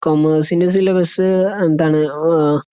കൊമേഴ്‌സിന്റെ syllabus എന്താണ് മ്മ് അഹ്